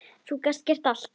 Þú gast gert allt, afi.